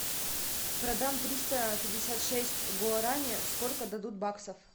продам триста пятьдесят шесть гуарани сколько дадут в баксах